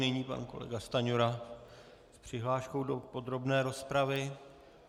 Nyní pan kolega Stanjura s přihláškou do podrobné rozpravy.